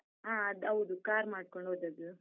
ಹ ಅದ್ದೌದು, car ಮಾಡ್ಕೊಂಡ್ ಹೋದದ್ದು.